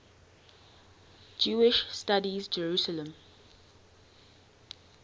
jewish studies jerusalem